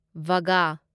ꯕꯒꯥ